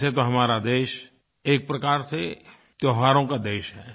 वैसे तो हमारा देश एक प्रकार से त्योहारों का देश है